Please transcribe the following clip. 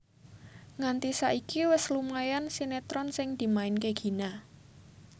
Nganti saiki wis lumayan sinetron sing dimainke Gina